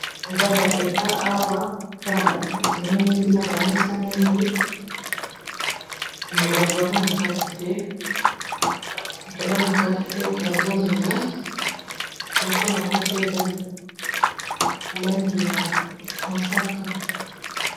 Nganda eza awa eza na bakiti mingi na bamesa mingi me bato baza na kati te kazomela plafon yango pe eza langi ya mosaka